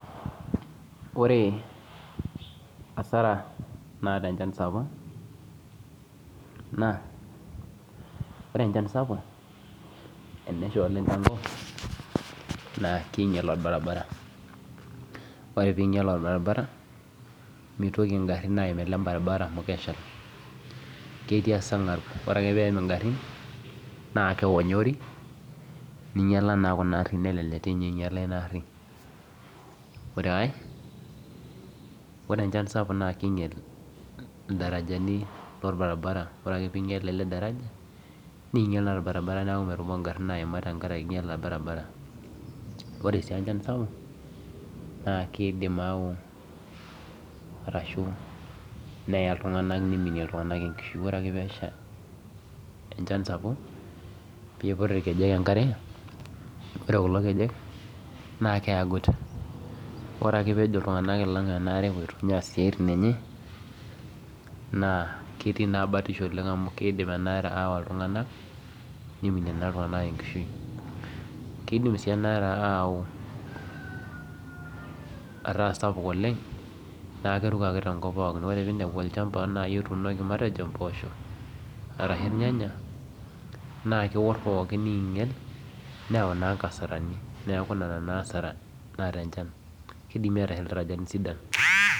Ore asara naata enchan sapuk naa naa ore enchan sapuk tenesha oleng naa keinyial orbaribara naa mitoki ingarin aim ele baribara amu ketii eserngab naa kelelek eonyori neinyiala ina aari ore ae ore echan sapuk naa keinyial idarajani lele barabara ore ake pinyial naa keidim aau arashuu neya iltung'anak neimini enkishui ore ake peesha enchan sapuk naa keiput irkejek enkare ore olkulo keje naa ketii na batisho amu keidi enaa re awa iltung'anak neiminie iltung'anak enkishui keidim sii enaare ataa sapuk oleng naa keruko ake tenkop pooki ore peinepu olchamba matejo otuunoki impoosho arashu irnyanya naa keor pookiin neinyial neeku nena naa asara naata enchan